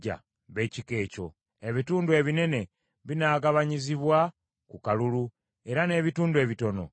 Ebitundu ebinene binaagabanyizibwa ku kalulu, era n’ebitundu ebitono nabyo bwe bityo.”